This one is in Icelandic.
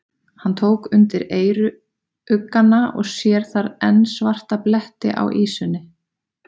Hann tók undir eyruggana og sér þar enn svarta bletti á ýsunni.